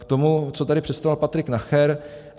K tomu, co tady představoval Patrik Nacher.